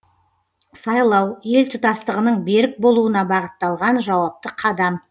сайлау ел тұтастығының берік болуына бағытталған жауапты қадам